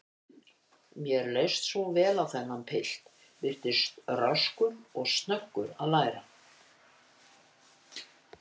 Mér leist svo vel á þennan pilt, virtist röskur og snöggur að læra.